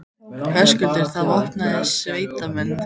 Höskuldur: Það eru vopnaðir sérsveitarmenn, þá?